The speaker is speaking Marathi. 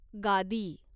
गादी